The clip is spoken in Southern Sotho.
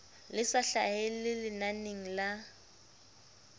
le sa hlahelle lenaneng la